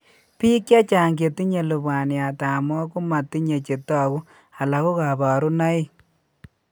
Biik chechang' chetinye lubwaniat ab moo komatinye chetogu alako kaborunoik